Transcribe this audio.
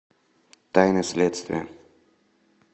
тайны следствия